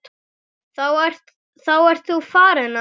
Þá ert þú farinn, afi.